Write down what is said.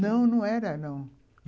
Não, não era, não.